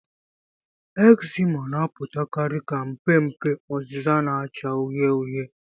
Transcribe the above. Ekzima na-apụtakarị ka mpe mpe oziza na-acha uhie uhie.